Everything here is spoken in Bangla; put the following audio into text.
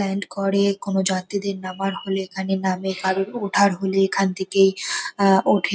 ল্যান্ড করে। কোন যাত্রীদের নামার হলে এখানে নামে কারোর ওঠার হলে এখান থেকেই ওঠেণ ।